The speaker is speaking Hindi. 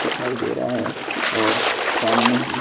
दिखाई दे रहा है और सामने ही--